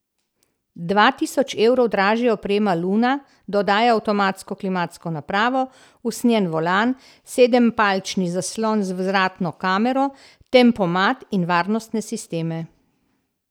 Dva tisoč evrov dražja oprema luna dodaja avtomatsko klimatsko napravo, usnjen volan, sedempalčni zaslon z vzvratno kamero, tempomat in varnostne sisteme.